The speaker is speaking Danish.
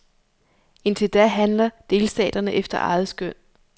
Indtil da handler delstaterne efter eget skøn.